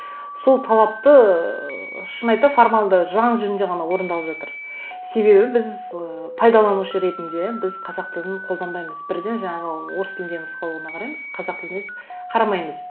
сол талапты ыыы шын айта формалды заң жүзінде ғана орындалып жатыр себебі біз ыыы пайдаланушы ретінде біз қазақ тілін қолданбаймыз бірден жаңағы орыс тілдегі нұсқауына қараймыз қазақ тіліне қарамаймыз